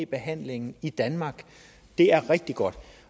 behandlingen i danmark det er rigtig godt